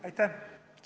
Aitäh!